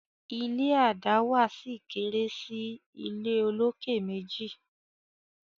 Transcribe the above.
ilé a dáwà sí kéré sí ìlé olokè méjì